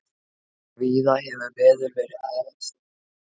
Víða hefur veður verið afar slæmt